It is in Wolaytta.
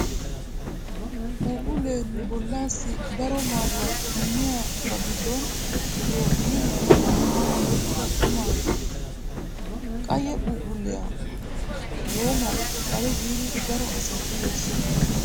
Puphphullee nu bollaassi daro maaduwaa immiya, ba giddon pirootiiniya loyttidi oyqqida quma. Qayye phuphphulliyaa woomawu xale giidi daro asay uyees.